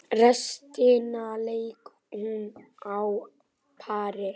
Restina lék hún á pari.